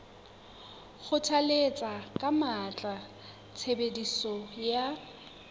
kgothalletsa ka matla tshebediso ya